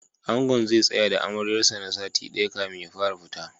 Angon zai tsaya da Amaryar sa na sati ɗaya kafin ya fara fita.